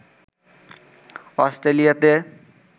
অস্ট্রেলিয়াতে